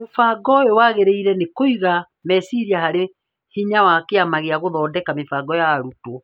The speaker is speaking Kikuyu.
Mũbango ũyũ wagĩrĩirwo nĩ kũiga meciria harĩ hinya wa Kĩama gĩa gũthondeka mĩbango ya arutwo